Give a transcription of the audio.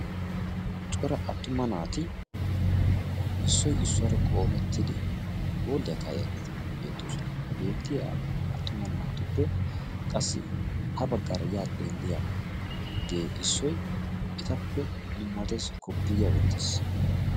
Cora attuma naati issoy issuwaara qoomettidi hooliyaa kaayiyaageeti beettoosona. Ha beettiya attuma naatuppe qassi ha baggaara yaa xeelliyagee issoy etappe dummattees; koppiya wottiis.